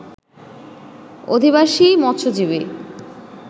অধিবাসীই মৎস্যজীবী